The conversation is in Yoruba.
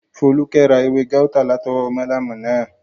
Fólúkẹ́ ra ewé gáútà látọwọ́ málámù náà